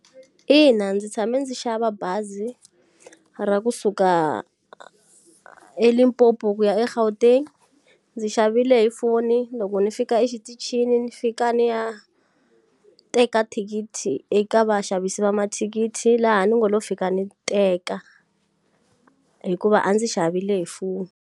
Ina ndzi tshame ndzi xava bazi ra kusuka eLimpopo ku ya eGauteng. Ndzi xavile hi foni loko ndzi fika exitichini ni fika ni ya, teka thikithi eka vaxavisi va mathikithi laha ndzi ngo lo fika ni teka. Hikuva a ndzi xavile hi foni.